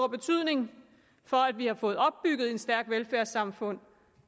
betydning for at vi har fået opbygget et stærkt velfærdssamfund